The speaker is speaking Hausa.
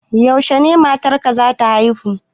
Yaushe matar ka za ta haihu?